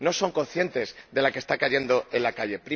No son conscientes de la que está cayendo en la calle.